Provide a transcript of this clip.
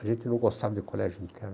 A gente não gostava de colégio interno.